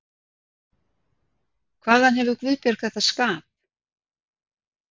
Hvaðan hefur Guðbjörg þetta skap?